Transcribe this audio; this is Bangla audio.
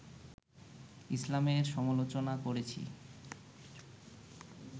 ইসলামের সমালোচনা করেছি